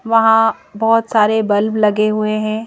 वहाँ बहुत सारे बल्ब लगे हुए हैं।